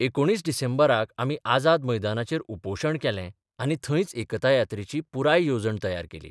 19 डिसेंबराक आमी आझाद मैदानाचेर उपोशण केलें आनी थंयच एकता यात्रेची पुराय येवजण तयार केली.